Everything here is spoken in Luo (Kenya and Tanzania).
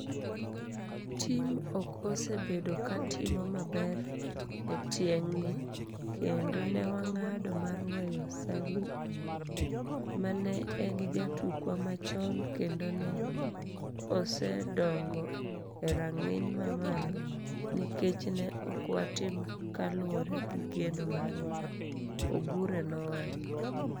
Tim ok osebedo ka timo maber e tieng'ni kendo ne wang'ado mar weyo Salim, ma ne en jatukwa machon kendo ne osedongo e rang'iny mamalo, nikech ne ok watim kaluwore gi geno marwa," Obure nowacho.